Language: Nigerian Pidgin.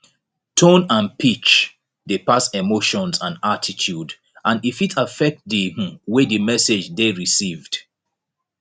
tone and pitch dey pass emotions and attitudes and e fit affect di um way di message dey received